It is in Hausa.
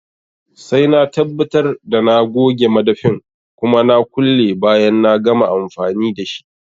Sai na tabbatar da na goge madafin kuma na kulle bayan na gama amfani dashi